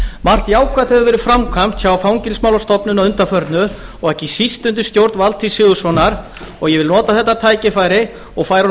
margt jákvætt hefur verið framkvæmt hjá fangelsismálastofnun að undanförnu og ekki síst undir stjórn valtýs sigurðssonar og ég vil nota þetta tækifæri og færa honum